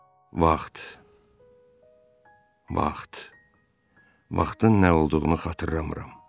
Vaxt, vaxt, vaxtın nə olduğunu xatırlamıram.